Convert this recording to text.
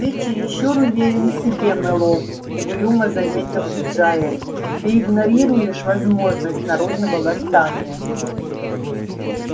ты чересчур уверен в себе мэллоу угрюмо заметил джаэль ты игнорируешь возможность народного восстания